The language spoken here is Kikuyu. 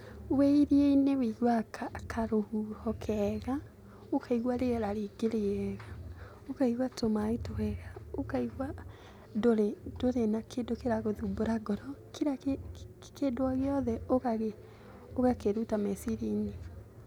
Wĩ iria-inĩ wĩiguaga karũhuho kega, ũkaigua rĩera rĩngĩ rĩega, ũkaigua tũmaaĩ twega, ũkaigua ndũrĩ na kĩndũ kĩragũthumbũra ngoro, kĩra kĩndũ o gĩothe ũgakĩruta meciriaĩnĩ.